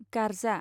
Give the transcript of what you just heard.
गार्जा